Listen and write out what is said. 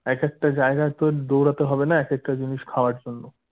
একেকটা জায়গায় তোর দৌড়াতে হবেনা একেকটা জিনিস খাওয়ার জন্য